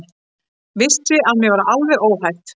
Vissi að mér var alveg óhætt.